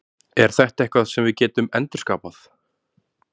Er þetta eitthvað sem við getum endurskapað?